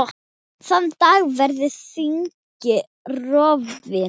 Þann dag verður þingið rofið.